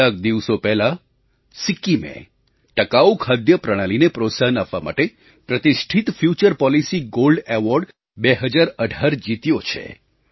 કેટલાક દિવસો પહેલાં સિક્કિમે ટકાઉ ખાદ્ય પ્રણાલીને પ્રોત્સાહન આપવા માટે પ્રતિષ્ઠિત ફ્યુચર પૉલિસી ગૉલ્ડ એવૉર્ડ 2018 જીત્યો છે